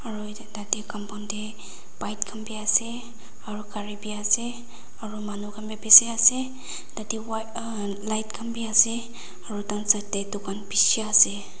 aru etu tate compound te bike khan bi ase aru gari bi ase aru manukhan bi bishi ase tate wa ah light khan bi ase aru taikhan side te dukan bishi ase.